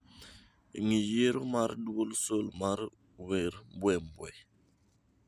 ng'i yiero mar dwol sol mar wer mbwe mbwe